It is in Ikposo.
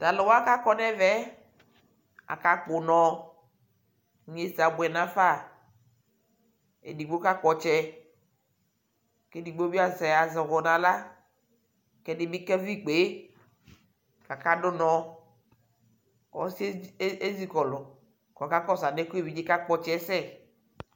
Talʋwa kakɔ nʋ ɛvɛ yɛ, akakpɔ unɔ Inyeza abuɛ dʋ nʋ afa Edigbo kakpɔ ɔtsɔ kʋ edigbo bι azɛ azwɔ nʋ aɣla kʋ ɛdi bι kavi kpekakadʋ unɔ Ɔsi yɛ e ezikɔlu kʋ ɔkakɔsu anɛ kʋ evidze hɛ kampɔ ɔtsɛ yɛ sɛ